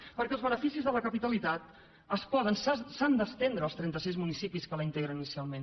perquè els beneficis de la capitalitat es poden s’han d’estendre als trentasis municipis que la integren inicialment